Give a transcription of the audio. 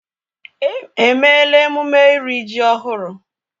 Èmeéla emume iri ji ọhụrụ?